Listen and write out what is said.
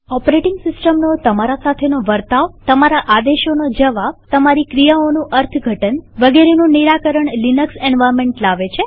operating સિસ્ટમનો તમારા સાથેનો વર્તાવતમારા આદેશોનો જવાબતમારી ક્રિયાઓનું અર્થ ઘટન વગેરેનું નિરાકરણ લિનક્સ એન્વાર્નમેન્ટ લાવે છે